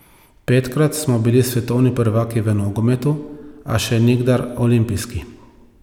Petkrat smo bili svetovni prvaki v nogometu, a še nikdar olimpijski.